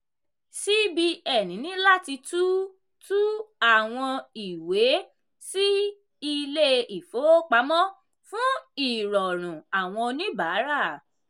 cbn ní láti tú tú àwọn ìwé sí ilé-ìfowópamọ́ fún ìrọrùn àwọn oníbàárà.